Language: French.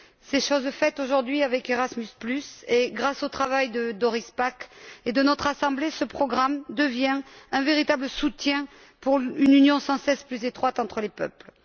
C'est aujourd'hui chose faite avec Erasmus et, grâce au travail de Doris Pack et de notre Assemblée, ce programme devient un véritable soutien pour une union sans cesse plus étroite entre les peuples.